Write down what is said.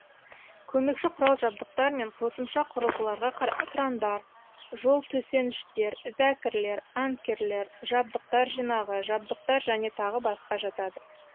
көмекші құрал жабдықтар мен қосымша құрылғыларға крандар жол төсеніштер зәкірлер анкерлер жабдықтар жинағы жабдықтар және тағы басқа жатады